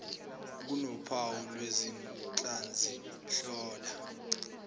kunophawu lwezinhlansi hlola